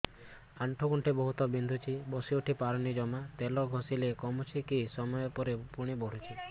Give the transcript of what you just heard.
ଆଣ୍ଠୁଗଣ୍ଠି ବହୁତ ବିନ୍ଧୁଛି ବସିଉଠି ପାରୁନି ଜମା ତେଲ ଘଷିଲେ କମୁଛି କିଛି ସମୟ ପରେ ପୁଣି ବିନ୍ଧୁଛି